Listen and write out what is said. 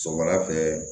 Sɔgɔmada fɛ